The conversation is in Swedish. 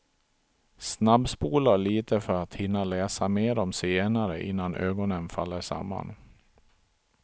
Snabbspolar lite för att hinna läsa mer om zigenare innan ögonen faller samman.